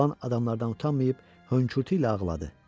Oğlan adamlardan utanmayıb hönkürtü ilə ağladı.